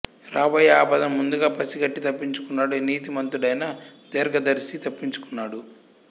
రాబోయే ఆపదను ముందుగా పసి కట్టి తప్పించుకున్నాడు నీతి మంతుడైన దీర్ఘదర్శి తప్పించుకున్నాడు